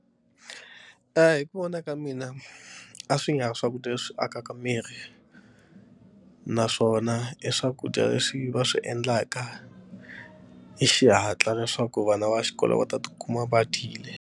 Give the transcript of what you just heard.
Hi ku vona ka mina a swi nga swakudya leswi akaka miri naswona i swakudya leswi va swi endlaka hi xihatla leswaku vana va xikolo va ta tikuma va dyile.